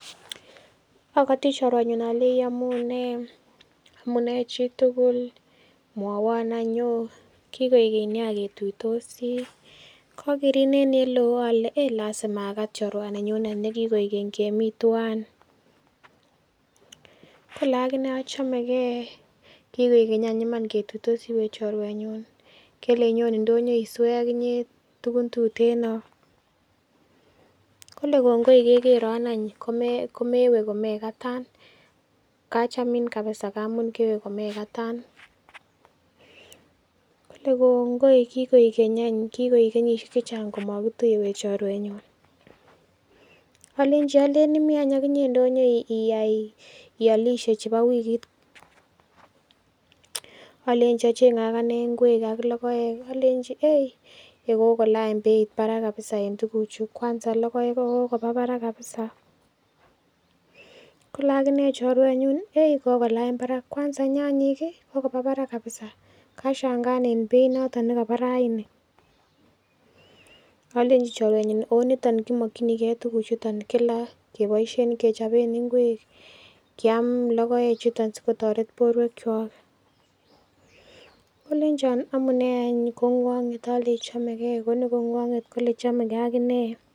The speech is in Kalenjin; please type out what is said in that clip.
Akati chirwe akalei iyamunei chitugul mwowon en Yoo kikoik geny ketuitosi kagerin en olelon ak lasima akat chorwaninyun nekikoik geny kemiten twan Kole alone achamegei kikoik geny ketuitosi we chorweyun kele inyon indonyo iswe akinyee tugun tuteno Kole kongoi kekeron any komewee komekatan kachamin kabisa ngamun mewee komekatan Kole kongoi kikoik geny ak kenyishek chechang komakituiye chorweyun alenji imiten akinyee indonyo iyai iyalishe chebo wikit alenchi akanee achenge ingwek ak logoek alenchi kokolany Beit Barak kabisa en tuguk Chu ak logoek kokoba Barak kabisa Kole akinee chorweyun kokolany Barak kwanza nyanyik kokoba Barak kabisa kashangaanben Beit notet nekaba raini alenchi chorweyun ooh niton nekemakini tuguk chuton kila kebaishen kechoben ingwek Kiam logoek chuton sikotaret borwek Chok kolenchi amunee kongwanet alenchi chamegee Koni kongwanet Kole chamegee akinee